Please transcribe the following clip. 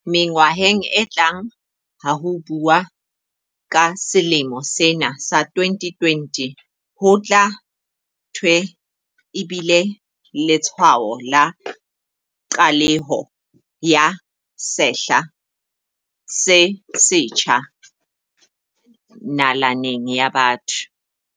Mengwaheng e tlang ha ho buuwa ka selemo sena sa 2020, ho tla thwe e bile letshwao la qaleho ya sehla se setjha na-laneng ya botho.